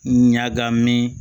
Ɲagamin